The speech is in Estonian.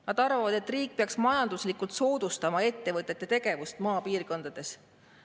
Nad arvavad, et riik peaks majanduslikult soodustama ettevõtete tegevust maapiirkondades.